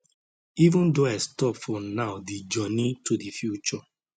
even though i stop for now di journey to di future